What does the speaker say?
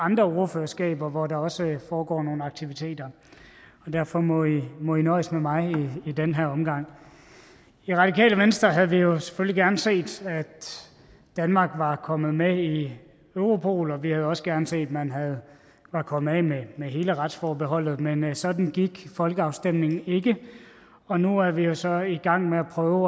andre ordførerskaber hvor der også foregår nogle aktiviteter og derfor må i må i nøjes med mig i den her omgang i radikale venstre havde vi jo selvfølgelig gerne set at danmark var kommet med i europol og vi havde også gerne set at man var kommet af med hele retsforbeholdet men men sådan gik folkeafstemningen ikke og nu er vi jo så i gang med at prøve